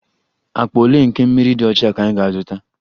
Akpa ole nke mmiri dị ọcha ka ị ga-azụta?